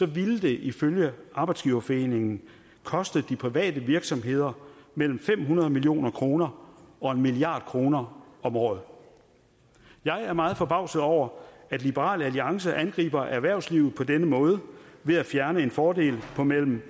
ville det ifølge arbejdsgiverforeningen koste de private virksomheder mellem fem hundrede million kroner og en milliard kroner om året jeg er meget forbavset over at liberal alliance angriber erhvervslivet på denne måde ved at fjerne en fordel på mellem